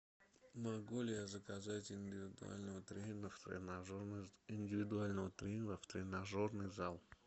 могу ли я заказать индивидуального тренера в тренажерный зал